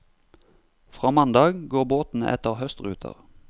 Fra mandag går båtene etter høstruter.